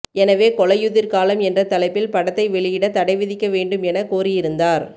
எனவே கொலையுதிர் காலம் என்ற தலைப்பில் படத்தை வெளியிட தடை விதிக்க வேண்டும் என கோரியிருந்தார்